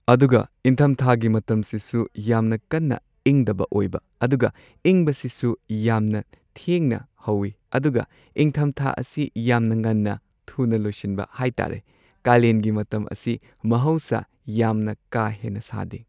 ꯑꯗꯨꯒ ꯏꯪꯊꯝꯊꯥꯒꯤ ꯃꯇꯝꯁꯤꯁꯨ ꯌꯥꯝꯅ ꯀꯟꯅ ꯏꯪꯗꯕ ꯑꯣꯏꯕ ꯑꯗꯨꯒ ꯏꯪꯕꯁꯤꯁꯨ ꯌꯥꯝꯅ ꯊꯦꯡꯅ ꯍꯧꯋꯤ ꯑꯗꯨꯒ ꯏꯪꯊꯝꯊꯥ ꯑꯁꯤ ꯌꯥꯝꯅ ꯉꯟꯅ ꯊꯨꯅ ꯂꯣꯏꯁꯟꯕ ꯍꯥꯏ ꯇꯥꯔꯦ꯫ ꯀꯥꯂꯦꯟꯒꯤ ꯃꯇꯝ ꯑꯁꯤ ꯃꯍꯧꯁꯥ ꯌꯥꯝꯅ ꯀꯥ ꯍꯦꯟꯅ ꯁꯥꯗꯦ꯫